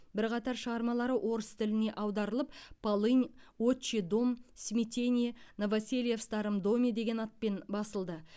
бірқатар шығармалары орыс тіліне аударылып полынь отчий дом смятение новоселье в старом доме деген атпен басылды